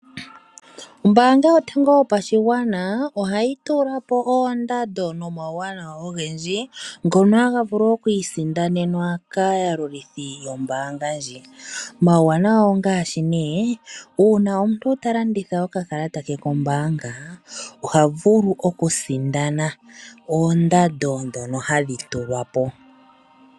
Ombaanga yotango yopashigwana, oha yi tula oo oondando nomauwanawa ogendji, ngono ha ga vulu oku isindanenwa kaayalulithi yombaanga ndji. Omauwanawa ngaashi nee ngele omuntu ta landitha okakakata ke kombaanga, oha vulu oku sindana oondando ndhono hadhi tulwa po.